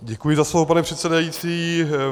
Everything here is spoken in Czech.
Děkuji za slovo, pane předsedající.